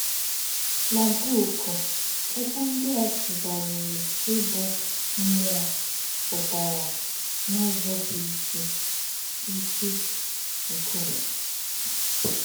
Nà bùkù̄, òkwù̄ ndí̄ à sù̄ghárìrì íbụ̄ “ mmú̄ọ̀ ” pụtarā n’ụ́zọ̀ bụ́ ísì̄ “ ísì̄ “ nkú̄ụ̀mè̄. ”